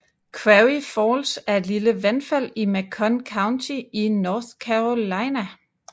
Quarry Falls er et lille vandfald i Macon County i North Carolina